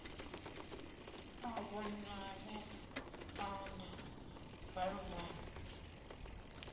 a vhonale a na valuvalu